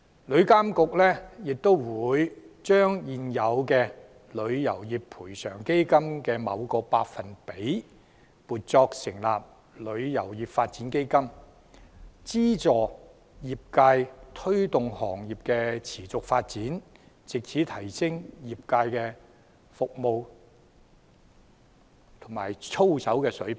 旅監局亦會將現有旅遊業賠償基金的某個百分比，撥作成立旅遊業發展基金，資助業界推動行業持續發展，藉此提升業界服務和操守的水平。